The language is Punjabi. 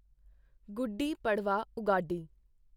ਗੁੱਡੀ ਪੜਵਾ ਉਗਾਡੀ